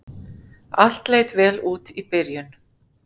Allt leit vel út í byrjun